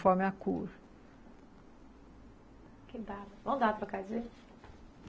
Conforme a cor